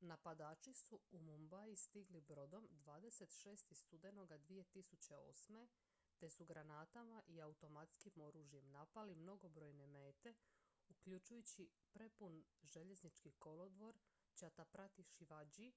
napadači su u mumbai stigli brodom 26. studenog 2008. te su granatama i automatskim oružjem napali mnogobrojne mete uključujući prepun željeznički kolodvor chhatrapati shivaji